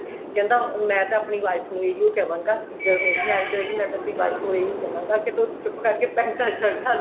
ਕਹਿੰਦਾ ਮੈਂ ਤਾਂ ਆਪਣੀ wife ਨੂੰ ਏਹਿਉ ਕਵਾਗਾ ਮੈਂ ਤਾਂ ਆਪਣੀ wife ਨੂੰ ਏਹਿਉ ਕਵਾਂਗਾ ਕਿ ਤੂੰ ਚੁਪ ਕਰਕੇ ਪੈਂਟਾ ਸ਼ਰਟਾ